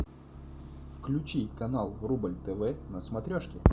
включи канал рубль тв на смотрешке